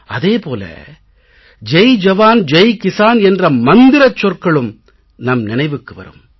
அதே போல ஜெய் ஜவான் ஜெய் கிஸான் என்ற மந்திரச் சொற்களும் நம் நினைவுக்கும் வரும்